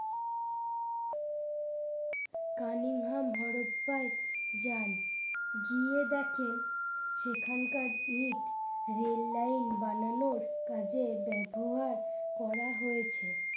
Carnegie হ্যাম হরপ্পায় যান গিয়ে দেখেন সেখানকার ইট রেললাইন বানানোর কাজে ব্যবহার করা হয়েছে।